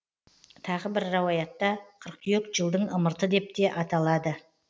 тағы бір рауаятта қыркүйек жылдың ымырты деп те аталады